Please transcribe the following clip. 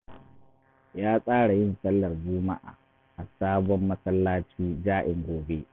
Ya tsara yin sallar Juma’a a sabon masallaci ja’in gobe